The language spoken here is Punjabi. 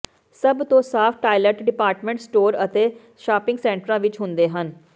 ਸਭ ਤੋਂ ਸਾਫ਼ ਟਾਇਲਟ ਡਿਪਾਰਟਮੈਂਟ ਸਟੋਰ ਅਤੇ ਸ਼ਾਪਿੰਗ ਸੈਂਟਰਾਂ ਵਿਚ ਹੁੰਦੇ ਹਨ